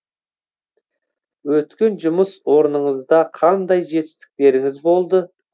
өткен жұмыс орныңызда қандай жетістіктеріңіз болды